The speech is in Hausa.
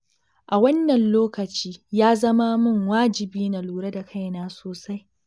A wannan lokaci, ya zama min wajibi na lura da kaina sosai.